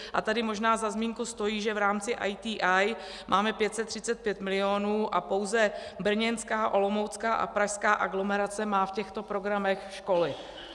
A tady možná za zmínku stojí, že v rámci ITI máme 535 milionů a pouze brněnská, olomoucká a pražská aglomerace má v těchto programech školy.